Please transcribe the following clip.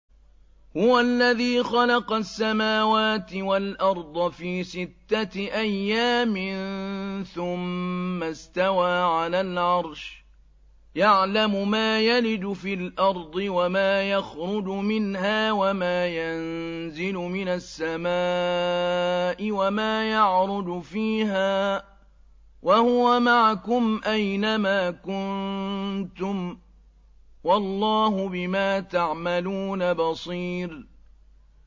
هُوَ الَّذِي خَلَقَ السَّمَاوَاتِ وَالْأَرْضَ فِي سِتَّةِ أَيَّامٍ ثُمَّ اسْتَوَىٰ عَلَى الْعَرْشِ ۚ يَعْلَمُ مَا يَلِجُ فِي الْأَرْضِ وَمَا يَخْرُجُ مِنْهَا وَمَا يَنزِلُ مِنَ السَّمَاءِ وَمَا يَعْرُجُ فِيهَا ۖ وَهُوَ مَعَكُمْ أَيْنَ مَا كُنتُمْ ۚ وَاللَّهُ بِمَا تَعْمَلُونَ بَصِيرٌ